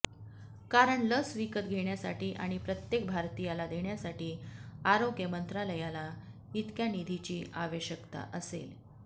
कारण लस विकत घेण्यासाठी आणि प्रत्येक भारतीयाला देण्यासाठी आरोग्य मंत्रालयाला इतक्या निधीची आवश्यकता असेल